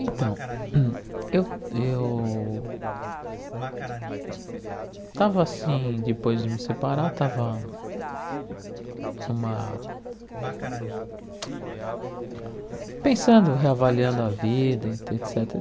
Então, eu eu estava assim, depois de me separar, estava numa... pensando, reavaliando a vida, e et cétera.